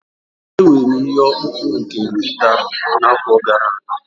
Enwere m ihe ọkpụkpụ nke nkịta n'afọ gara aga